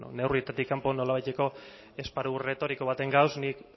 neurrietatik kanpo nolabaiteko esparru erretoriko baten gauz nik